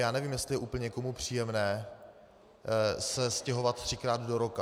Já nevím, jestli je úplně někomu příjemné se stěhovat třikrát do roka.